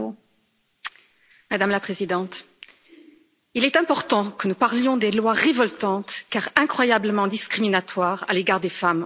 Madame la Présidente, il est important que nous parlions des lois révoltantes, car incroyablement discriminatoires, à l'égard des femmes en Arabie Saoudite.